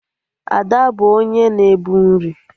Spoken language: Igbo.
Ada bụ onye na-ebu nri